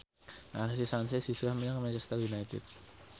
Alexis Sanchez hijrah menyang Manchester united